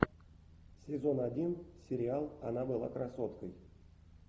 сезон один сериал она была красоткой